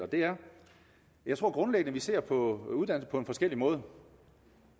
jeg tror grundlæggende at vi ser på uddannelse på forskellig måde